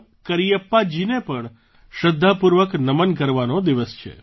કરિયપ્પાજીને પણ શ્રદ્ધાપૂર્વક નમન કરવાનો દિવસ છે